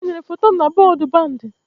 E tinyere foto m na bọọdụ bandi